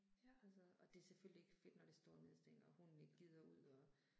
Altså, og det er selvfølgelig ikke fedt når det står ned i stænger og hunden ikke gider ud og